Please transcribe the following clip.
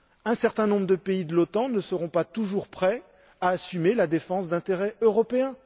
Un certain nombre de pays de l'OTAN ne seront pas toujours prêts à assumer la défense d'intérêts européens.